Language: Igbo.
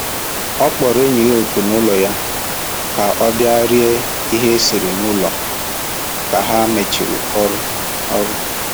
Ọ kpọrọ enyi ya oku n'ụlọ ya ka ọ bịa rie ihe e siri n'ụlọ ka ha mechiri ọrụ ọrụ